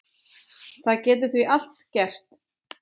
Það getur því allt gerst.